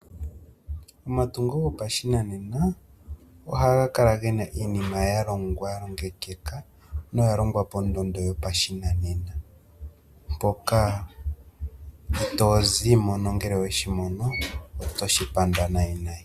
Omatungo gopashinanena ohaga kala gena iinima yalongwa yalongekeka, na oyalongwa pandondo yopashinanena mpoka tozi ngele weshimono oto shi panda nayi nayi.